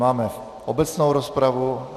Máme obecnou rozpravu.